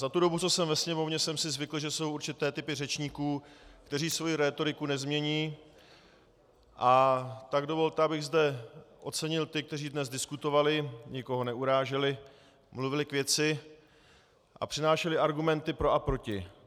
Za tu dobu, co jsem ve Sněmovně, jsem si zvykl, že jsou určité typy řečníků, kteří svoji rétoriku nezmění, a tak dovolte, abych zde ocenil ty, kteří dnes diskutovali, nikoho neuráželi, mluvili k věci a přinášeli argumenty pro a proti.